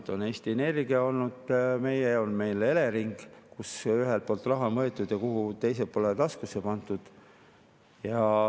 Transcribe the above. Meil on Eesti Energia, meil on Elering, kus raha on võetud ühelt poolt ja pandud teise poole taskusse.